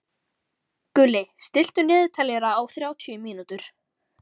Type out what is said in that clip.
Gulli, stilltu niðurteljara á þrjátíu mínútur.